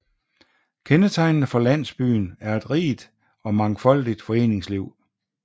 Kendetegnende for landsbyen er et rigt og mangfoldigt foreningsliv